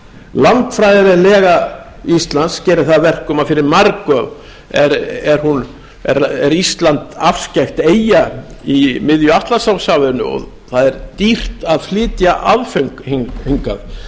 landfræðilega íslands gerir það að verkum að fyrir marga er ísland afskekkt eyja í miðju atlantshafinu og það er dýrt að flytja aðföng hingað